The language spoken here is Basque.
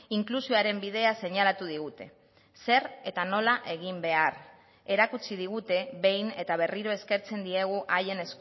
inklusioaren bidea seinalatu digute zer eta nola egin behar erakutsi digute behin eta berriro eskertzen diegu haien